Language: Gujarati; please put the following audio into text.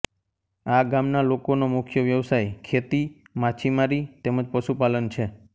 આ ગામના લોકોનો મુખ્ય વ્યવસાય ખેતી માછીમારી તેમ જ પશુપાલન છે